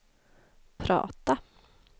prata